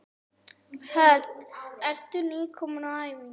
Hödd: Ertu nýkominn á æfingu?